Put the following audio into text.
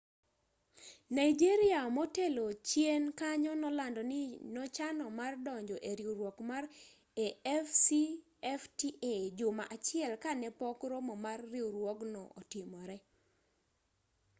nigeria motelo chien kanyo nolando ni nochano mar donjo e riwruok mar afcfta juma achiel ka ne pok romo mar riwruogno otimore